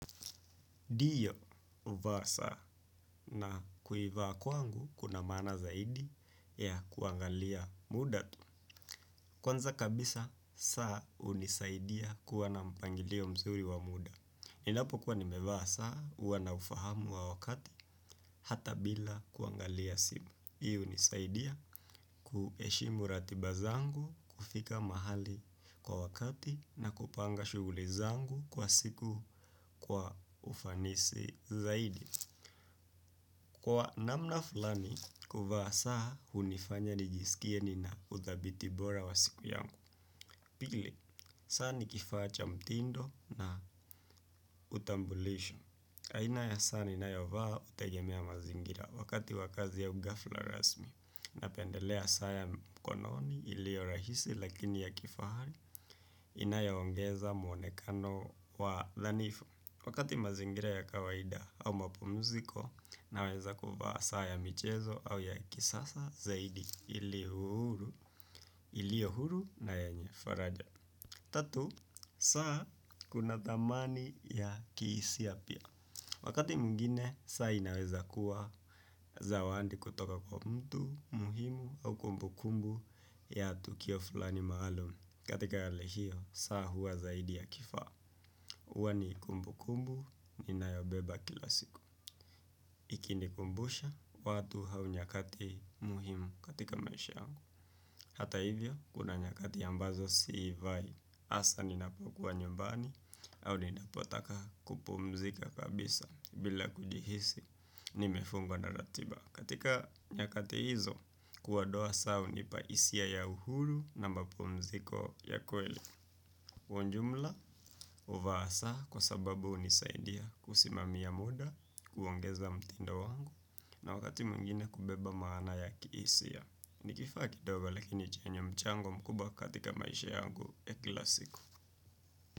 Ndiyo, huvaa saa na kuivaa kwangu kuna maana zaidi ya kuangalia muda tu. Kwanza kabisa, saa hunisaidia kuwa na mpangilio mzuri wa muda. Ninapokuwa nimevaa saa, huwa na ufahamu wa wakati, hata bila kuangalia simu. Hii hunisaidia kuheshimu ratiba zangu, kufika mahali kwa wakati na kupanga shughuli zangu kwa siku kwa ufanisi zaidi. Kwa namna fulani, kuvaa saa hunifanya nijisikie nina uthabiti bora wa siku yangu. Pili, saa ni kifaa cha mtindo na utambulisho. Aina ya saa ninayovaa hutegemea mazingira, wakati wa kazi ya ughafla rasmi. Napendelea saa ya mkononi ilio rahisi lakini ya kifahari inayoongeza mwonekano wa dhanifu. Wakati mazingira ya kawaida au mapumziko, naweza kuvaa saa ya michezo au ya kisasa zaidi iliyo huru na yenye faraja. Tatu, saa kuna thamani ya kihisia pia. Wakati mwingine, saa inaweza kuwa zawadi kutoka kwa mtu, muhimu au kumbukumbu ya tukio fulani maalum. Katika hali hio, saa huwa zaidi ya kifaa. Huwa ni kumbukumbu ninayobeba kila siku. Ikinikumbusha watu au nyakati muhimu katika maisha yangu. Hata hivyo, kuna nyakati ambazo siivai. Hasaa ninapokuwa nyumbani au ninapotaka kupumzika kabisa. Bila kujihisi, nimefungwa na ratiba. Katika nyakati hizo, kuondoa saa hunipa hisia ya uhuru na mapumziko ya kweli. Kwa ujumla, huvaa saa kwa sababu hunisaidia kusimamia muda, kuongeza mtindo wangu na wakati mwingine kubeba maana ya kihisia. Ni kifaa kidogo lakini chenye mchango mkubwa katika maisha yangu ya kila siku.